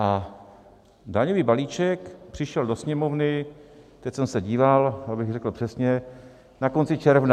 A daňový balíček přišel do Sněmovny, teď jsem se díval, abych řekl přesně, na konci června.